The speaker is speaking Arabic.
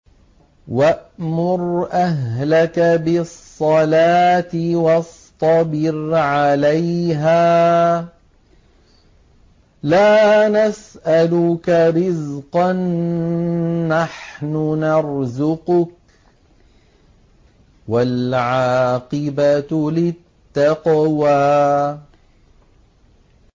وَأْمُرْ أَهْلَكَ بِالصَّلَاةِ وَاصْطَبِرْ عَلَيْهَا ۖ لَا نَسْأَلُكَ رِزْقًا ۖ نَّحْنُ نَرْزُقُكَ ۗ وَالْعَاقِبَةُ لِلتَّقْوَىٰ